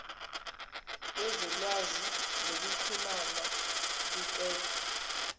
bezolwazi nokuxhumna ukuqedwa